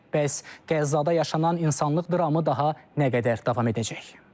Bəs Qəzzada yaşanan insanlıq dramı daha nə qədər davam edəcək?